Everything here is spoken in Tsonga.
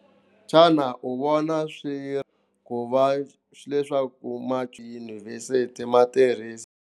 Xana u vona swi ri ku va leswaku ma tiyunivhesiti ma tirhisa.